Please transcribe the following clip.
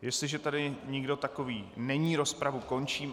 Jestliže tady nikdo takový není, rozpravu končím.